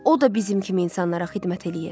O da bizim kimi insanlara xidmət eləyir.